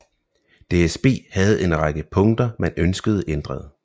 DSB havde en række punkter man ønskede ændret